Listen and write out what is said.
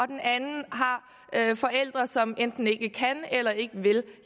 den anden har forældre som enten ikke kan eller ikke vil